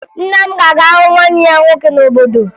Nna m ga-aga hụ nwanne ya nwoke n'obodo